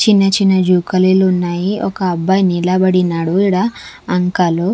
చిన్న చిన్న జూకాలిలు ఉన్నాయి ఒక్క అబ్బాయి నిలబడినడు ఇడా అంకలు.